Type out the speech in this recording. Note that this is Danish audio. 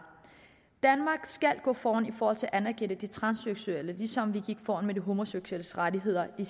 danmark skal gå foran for at anerkende de transseksuelle ligesom vi gik foran med de homoseksuelles rettigheder i